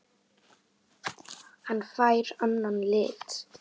Hann fær annan lit.